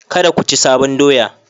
Kada ku ci sabon doya